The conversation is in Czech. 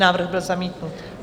Návrh byl zamítnut.